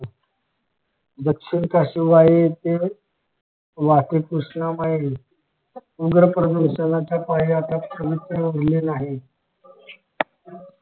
दक्षिण कशी वाई येथे वाहते कृष्णामाई धूम्रप्रदूषणयाच्या पायी हाती काहीच उरले नाही